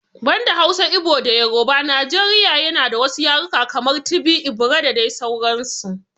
Banda Hausa, Igbo da Yoruba Najeriya na da wasu yarukan kamar, Tibi, Igbira da dai sauransu.